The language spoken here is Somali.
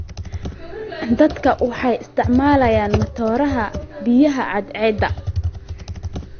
Dadku waxay isticmaalayaan matoorada biyaha cadceedda.